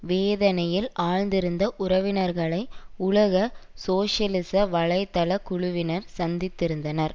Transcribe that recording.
வேதனையில் ஆழ்ந்திருந்த உறவினர்களை உலக சோசியலிச வலை தள குழுவினர் சந்தித்திருந்தனர்